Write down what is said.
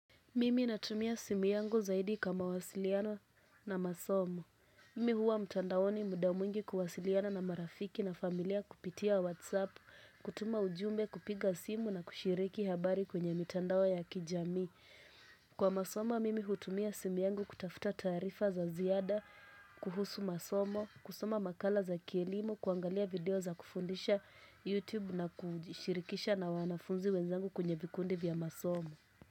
Mimi natumia simu yangu zaidi kwa mawasiliano na masomo. Mimi huwa mtandaoni muda mwingi kuwasiliana na marafiki na familia kupitia whatsapp, kutuma ujumbe kupiga simu na kushiriki habari kwenye mitandao ya kijamii. Kwa masomo, mimi hutumia simu yangu kutafuta tarifa za ziada, kuhusu masomo, kusoma makala za kielimu, kuangalia video za kufundisha YouTube na kushirikisha na wanafunzi wenzangu kwenye vikundi vya masomo.